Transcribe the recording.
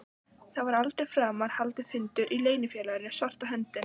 Það var aldrei framar haldinn fundur í Leynifélaginu svarta höndin.